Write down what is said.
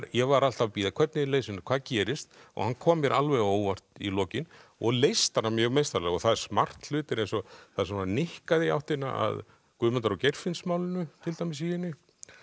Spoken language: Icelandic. ég var alltaf að bíða hvernig leysir hann hvað gerist hann kom mér alveg á óvart í lokin og leysti hana mjög meistaralega og það eru smart hlutir eins og það er nikkað í áttina að Guðmundar og Geirfinnsmálinu til dæmis í henni